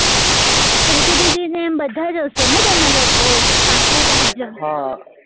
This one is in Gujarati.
પ્રીતિ દીદી ને બધા જસો ને તમે લોકો પાંચે પાંચ જણ